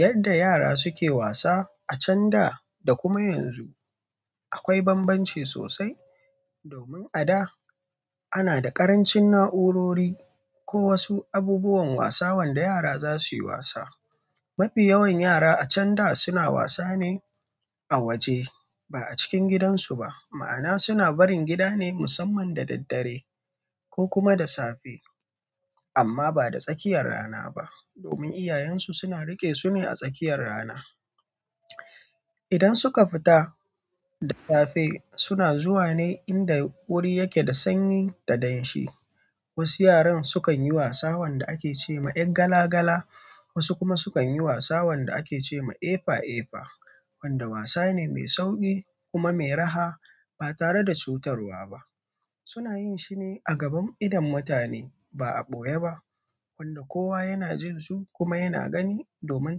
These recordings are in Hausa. Yadda yara suke wasa a can da, da kuma yanzu, akwai banbanci sosai. Domin a da, ana da ƙarancin na'urori ko wasu abubuwan wasa wanda yara za su yi wasa. Mafi yawan yara a can da suna wasa ne a waje, ba a cikin gidansu ba. Ma'ana suna barin gida ne musamman da daddare ko kuma da safe. Amma ba da tsakiyar rana ba, domin iyayensu suna riƙe su ne a tsakiyar rana. Idan suka fita da safe, suna zuwa ne inda wuri yake da sanyi da danshi. Wasu yaran sukan yi wasa wanda ake ce ma "yar gala gala", wasu kuma sukan yi wasa wanda ake ce ma "Efa Efa", wanda wasa ne mai sauƙi kuma mai raha ba tare da cutarwa ba. Suna yin shi ne a gaban idon mutane ba a ɓoye ba, wanda kowa yana jin su kuma yana gani domin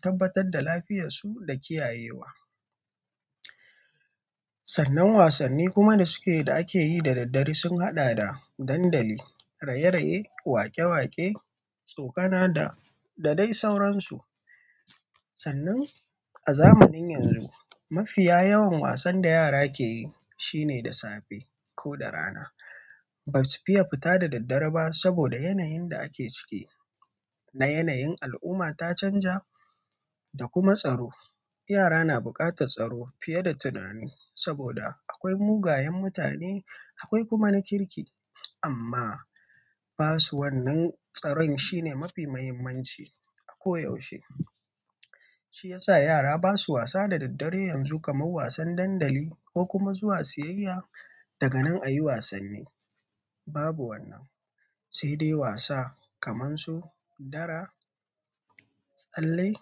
tabbatar da lafiyarsu da kiyayewa. Sannan wasanni kuma da suke da ake yi da daddare sun haɗa da dandali, raye-raye, waƙe-waƙe, tsokana da dai sauransu. Sannan a zamanin yanzu, mafiya yawan wasan da yara ke yi shine da safe ko da rana. Ba su fiye fita da daddare ba saboda yanayin da ake ciki, na yanayin al'umma ta canja da kuma tsaro. Yara na buƙatar tsaro fiye da tunani saboda akwai mugayen mutane, akwai kuma na kirki. Amma basu wannan tsaron shine mafi muhimmanci koyaushe shi ya sa yara ba su wasa da daddare yanzu kamar wasan dandali ko kuma zuwa siyayya. Daga nan a yi wasanni, babu wannan. Sai dai wasa kamar su dara, tsalle,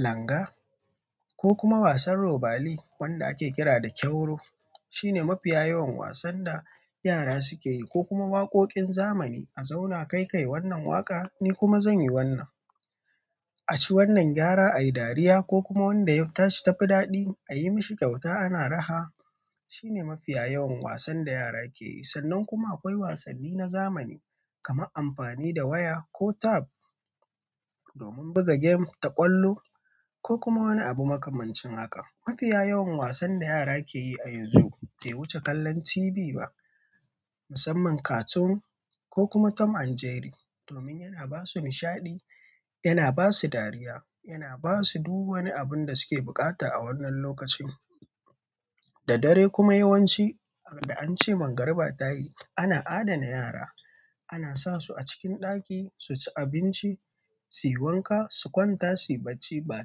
langa ko kuma wasan robali wanda ake kira da kyauro. Shi ne mafiya yawan wasan da yara suke yi ko kuma waƙoƙin zamani a zauna kai kai wannan waƙa ni kuma zan yi wannan. A ci wannan gyara a yi dariya ko kuma wanda ya ta shi ta fi daɗi, a yi mashi kyauta ana raha. Shi ne mafiya yawan wasan da yara ke yi. Sannan kuma akwai wasanni na zamani kamar amfani da waya ko tab domin buga gem ta ƙwallo ko kuma wani abu makamancin haka. Mafiya yawan wasan da yara ke yi a yanzu bai wuce kallon TV ba, musamman cartoon ko kuma Tom and Jerry. Domin yana ba su nishaɗi, yana ba su dariya, yana ba su duk wani abun da suke buƙata a wannan lokacin. Da dare kuma yawanci a da an ce mangarba tayi, ana adana yara. Ana sa su a cikin ɗaki su ci abinci, su yi wanka, su kwanta, su yi bacci ba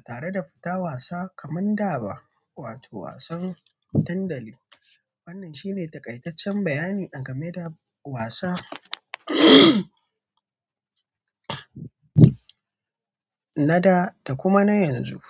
tare da fita wasa kamar da ba, wato wasan dandali. Wannan shine taƙaitaccen bayani a game da wasa na da, da kuma na yanzu.